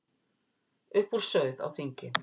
Upp úr sauð á þingi